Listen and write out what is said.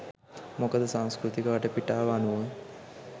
මොකද සංස්කෘතික වටපිටාව අනුව